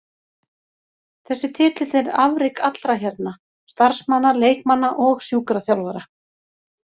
Þessi titill er afrek allra hérna, starfsmanna, leikmanna og sjúkraþjálfara.